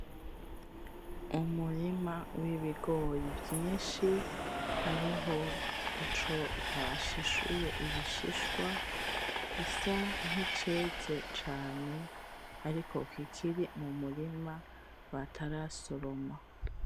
Umurima w'ibigori vyinshi hariho ico bashishuye ibishishwa gisa nkiceze cane ariko kikiri mumurima batarasoroma